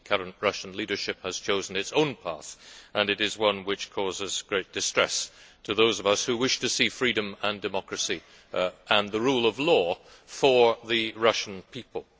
The current Russian leadership has chosen its own path, and it is one which causes great distress to those of us who wish to see freedom and democracy and the rule of law for the Russian people.